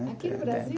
Aqui no Brasil?